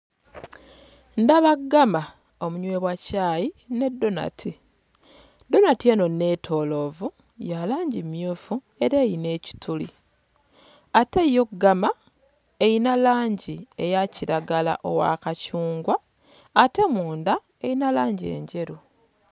Ndaba ggama omunywebwa caayi ne ddonati. Ddonati eno neetooloovu ya langi mmyufu era eyina ekituli, ate yo ggama eyina langi eya kiragala owa kacungwa ate munda eyina langi enjeru.